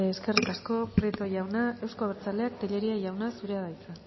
eskerrik asko prieto jauna eusko abertzaleak tellería jauna zurea da hitza